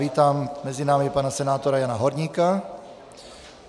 Vítám mezi námi pana senátora Jana Horníka.